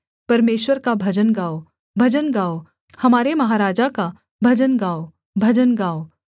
परमेश्वर का भजन गाओ भजन गाओ हमारे महाराजा का भजन गाओ भजन गाओ